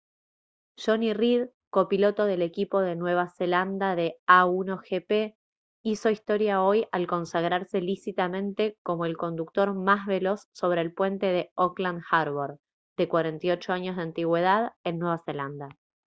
jonny reid copiloto del equipo de nueva zelanda de a1gp hizo historia hoy al consagrarse lícitamente como el conductor más veloz sobre el puente de auckland harbour de 48 años de antigüedad en nueva zelanda